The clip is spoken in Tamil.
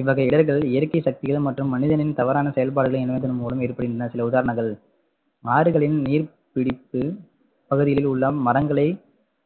இவ்வகை இடர்கள் இயற்கை சக்திகள் மற்றும் மனிதனின் தவறான செயல்பாடுகள் இணைவதன் மூலம் ஏற்படுகின்றன சில உதாரணங்கள் ஆறுகளின் நீர் பிடிப்பு பகுதியில் உள்ள மரங்களை